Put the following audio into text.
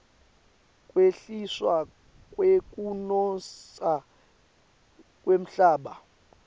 kwehliswa kwekunotsa kwemhlaba